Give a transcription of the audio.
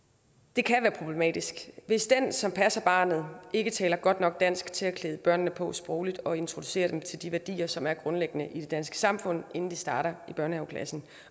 det kan være problematisk hvis den som passer barnet ikke taler godt nok dansk til at klæde børnene på sprogligt og introducere dem til de værdier som er grundlæggende i det danske samfund inden de starter i børnehaveklassen